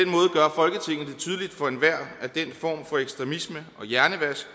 tydeligt for enhver at den form for ekstremisme og hjernevask